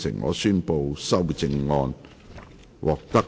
我宣布議案獲得通過。